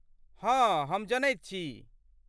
हँ, हम जनैत छी।